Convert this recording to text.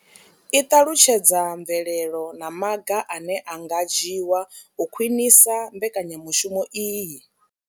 I ṱalutshedza mvelelo na maga ane a nga dzhiwa u khwinisa mbekanyamushumo iyi.